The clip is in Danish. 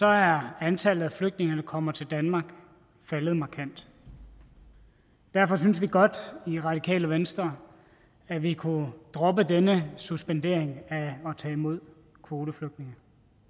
er antallet af flygtninge der kommer til danmark faldet markant derfor synes vi godt i radikale venstre at vi kunne droppe denne suspendering af at tage imod kvoteflygtninge